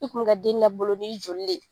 I kun mi ka den labolo ni joli le.